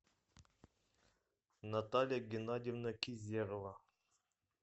наталья геннадьевна кизерова